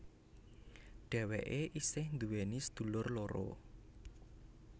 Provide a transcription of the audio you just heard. Dhewéke isih nduweni sedulur loro